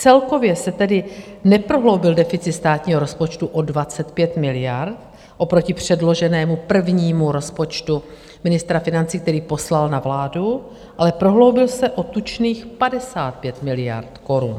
Celkově se tedy neprohloubil deficit státního rozpočtu o 25 miliard oproti předloženému prvnímu rozpočtu ministra financí, který poslal na vládu, ale prohloubil se o tučných 55 miliard korun.